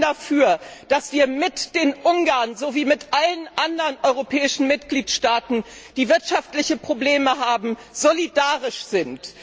Ich bin dafür, dass wir mit den Ungarn sowie mit allen anderen europäischen Mitgliedstaaten, die wirtschaftliche Probleme haben, solidarisch sind.